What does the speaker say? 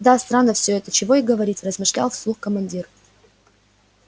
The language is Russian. да странно всё это чего и говорить размышлял вслух командир